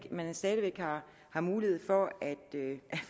man stadig væk har har mulighed for at